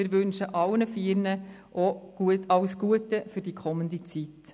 Wir wünschen allen vier alles Gute für die kommende Zeit.